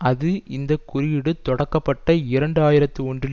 அது இந்த குறியீடு தொடக்கப்பட்ட இரண்டு ஆயிரத்தி ஒன்றில்